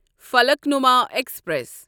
Falaknuma express